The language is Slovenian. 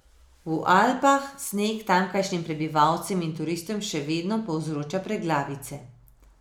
V Alpah sneg tamkajšnjim prebivalcem in turistom še vedno povzroča preglavice.